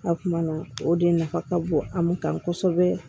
A kuma na o de nafa ka bon an kan kosɛbɛ